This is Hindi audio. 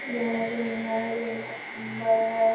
यह रूम है। रूम बहुत सुंदर है।